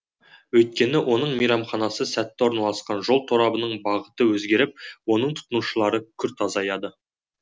өйткені оның мейрамханасы сәтті орналасқан жол торабының бағыты өзгеріп оның тұтынушылары күрт азаяды